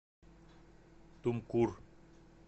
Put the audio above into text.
тумкур